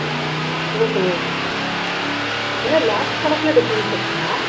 ஓஹோ lakhs கணக்குல difference இருக்குமா